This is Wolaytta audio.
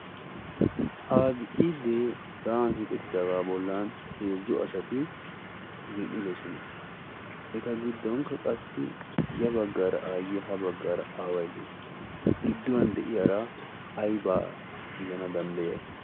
abcidee sa7an hiixettidaagaa bollan heezzo ashati zin77idosona. eta giddonkka qassi ya baggaara aayye ha baggaara aawai dees. gidduwan de7iyaara aibaa gidana danddayai?